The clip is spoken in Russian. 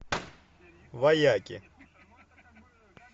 вояки